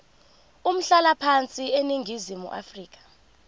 umhlalaphansi eningizimu afrika